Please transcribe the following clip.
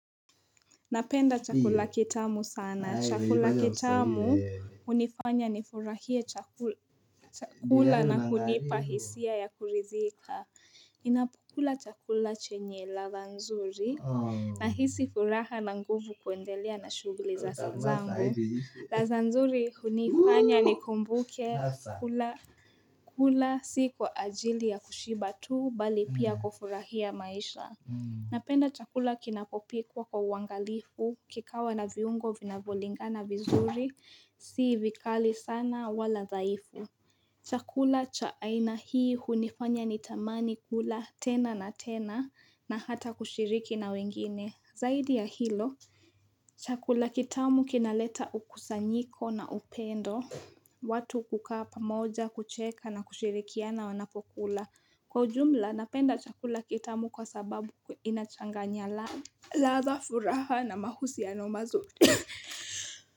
Napenda chakula kitamu sana. Chakula kitamu unifanya nifurahie chakula na kunipa hisia ya kurizika. Ninapokula chakula chenye ladha nzuri. Nahisi furaha na nguvu kuendelea na shughuli za sanzangu. Ladha nzuri hunifanya nikumbuke kula si kwa ajili ya kushiba tu bali pia kufurahia maisha. Napenda chakula kinapopikwa kwa uangalifu, kikawa na viungo vinavyo lingana vizuri, si vikali sana wala dhaifu. Chakula cha aina hii hunifanya ni tamani kula tena na tena na hata kushiriki na wengine. Zaidi ya hilo, chakula kitamu kinaleta ukusanyiko na upendo, watu kukaa pamoja kucheka na kushirikiana wanapokula. Kwa ujumla, napenda chakula kitamu kwa sababu inachanganya ladha, furaha na mahusino mazuri.